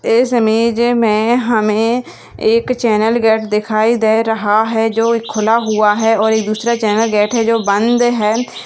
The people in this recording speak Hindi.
इस इमेज में हमें एक चैनल गेट दिखाई दे रहा है जो खुला हुआ है और एक दूसरा चैनल गेट है जो बंद हैं